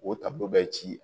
O ta bɛ ci